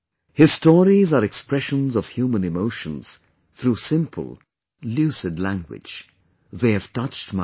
His stories are expressions of human emotions through simple, lucid language... they have touched my heart